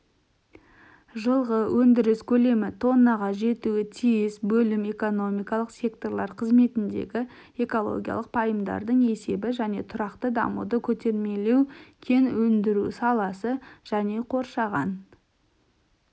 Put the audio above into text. жылғы өндіріс көлемі тоннаға жетуі тиіс бөлім экономикалық секторлар қызметіндегі экологиялық пайымдардың есебі және тұрақты дамуды көтермелеу кен өндіру саласы және қоршаған